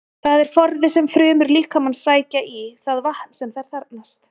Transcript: Það er forði sem frumur líkamans sækja í það vatn sem þær þarfnast.